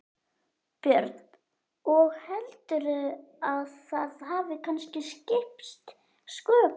Björn: Og heldurðu að það hafi kannski skipt sköpum?